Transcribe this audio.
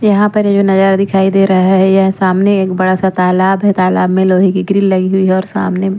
यहाँ पर ये जो नजारा दिखाई दे रहा है यह सामने एक बड़ा-सा तालाब है तालाब में लोहे की ग्रिल लगी हुई है और सामने में--